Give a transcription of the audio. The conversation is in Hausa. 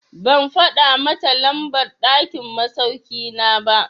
Ban faɗa mata lambar ɗakin masauki na ba.